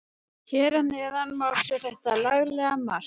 Hér að neðan má sjá þetta laglega mark.